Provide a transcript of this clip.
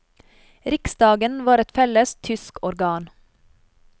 Riksdagen var et felles tysk organ.